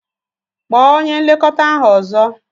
Kpọọ onye nlekọta ahu ọzọ!